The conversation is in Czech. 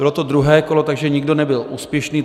Bylo to druhé kolo, takže nikdo nebyl úspěšný.